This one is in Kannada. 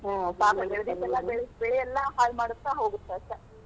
ಹಾ ಪಾಪ ಬೆಳಿ ಎಲ್ಲಾ ಹಾಳ್ ಮಾಡುತ್ತ ಹೋಗತ್ತ ಅಷ್ಟ.